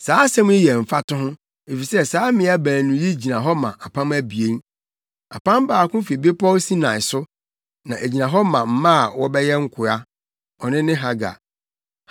Saa asɛm yi yɛ mfatoho efisɛ saa mmea baanu yi gyina hɔ ma apam abien. Apam baako fi bepɔw Sinai so, na egyina hɔ ma mma a wɔbɛyɛ nkoa: Ɔno ne Hagar.